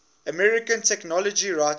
american technology writers